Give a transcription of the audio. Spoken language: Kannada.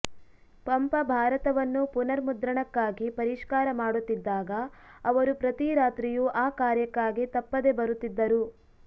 ಪಂಪ ಭಾರತವನ್ನು ಪುನರ್ಮುದ್ರಣಕ್ಕಾಗಿ ಪರಿಷ್ಕಾರ ಮಾಡುತ್ತಿದ್ದಾಗ ಅವರು ಪ್ರತಿ ರಾತ್ರಿಯೂ ಆ ಕಾರ್ಯಕ್ಕಾಗಿ ತಪ್ಪದೆ ಬರುತ್ತಿದ್ದರು